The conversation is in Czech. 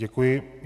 Děkuji.